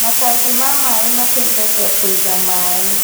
Matangi ma maĩ mateithagia kũiga maĩ